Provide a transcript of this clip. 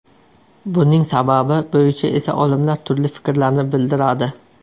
Buning sababi bo‘yicha esa olimlar turli fikrlarni bildiradi.